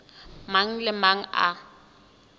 mang le a mang a